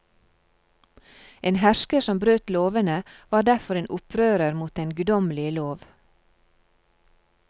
En hersker som brøt lovene var derfor en opprører mot den guddommelige lov.